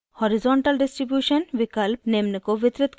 horizontal distribution विकल्प निम्न को वितरित करता है